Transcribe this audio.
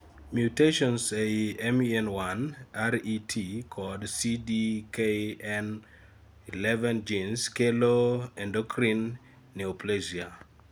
mutationns eei MEN1, RET kod CDKN11genes kelo endocrine neoplasia